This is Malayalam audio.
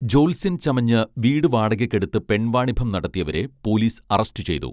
ജ്യോത്സ്യൻ ചമഞ്ഞ് വീട് വാടകയ്ക്കെടുത്ത് പെൺവാണിഭം നടത്തിയവരെ പോലിസ് അറസ്റ്റു ചെയ്തു